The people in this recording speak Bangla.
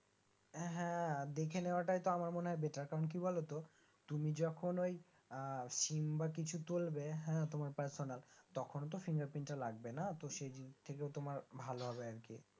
হাঁ দেখে নেয়াটাই আমার মনেহয় Batter কারণ কি বলতো তুমি যখন ওই আহ SIM বা কিছু তুলবে হ্যাঁ তোমার Parsonal তখন তো fingerprint টা লাগবে না তো সেই দিক থেকেও তোমার ভালো হবে আরকি